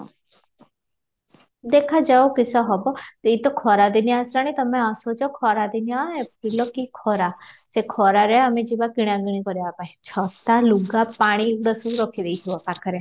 ଦେଖା ଯାଉ କିସ ହେବ ଏଇତ ଖରା ଦିନିଆ ଆସିଲାଣି ତମେ ଆସୁଛ ଖରା ଦିନିଆ april କି ଖରା ସେ ଖରାରେ ଆମେ ଯିବା କିଣା କିଣି କରିବା ପାଇଁ ଛତା ଲୁଗା ପାଣି ଏସବୁ ରଖି ଦେଇଥିବ ପାଖରେ